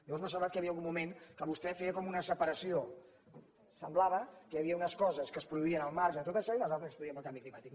aleshores m’ha semblat que hi havia algun moment que vostè com una separació semblava que hi havia unes coses que es produïen al marge de tot això i unes altres que es produïen pel canvi climàtic